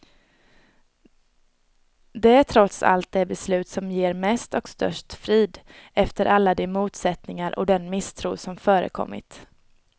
Det är trots allt det beslut som ger mest och störst frid, efter alla de motsättningar och den misstro som förekommit.